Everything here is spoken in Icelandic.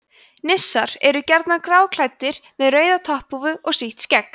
nissar eru gjarnan gráklæddir með rauða topphúfu og sítt skegg